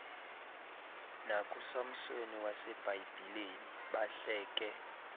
nakusamsoni wasebhayibhileni bahleke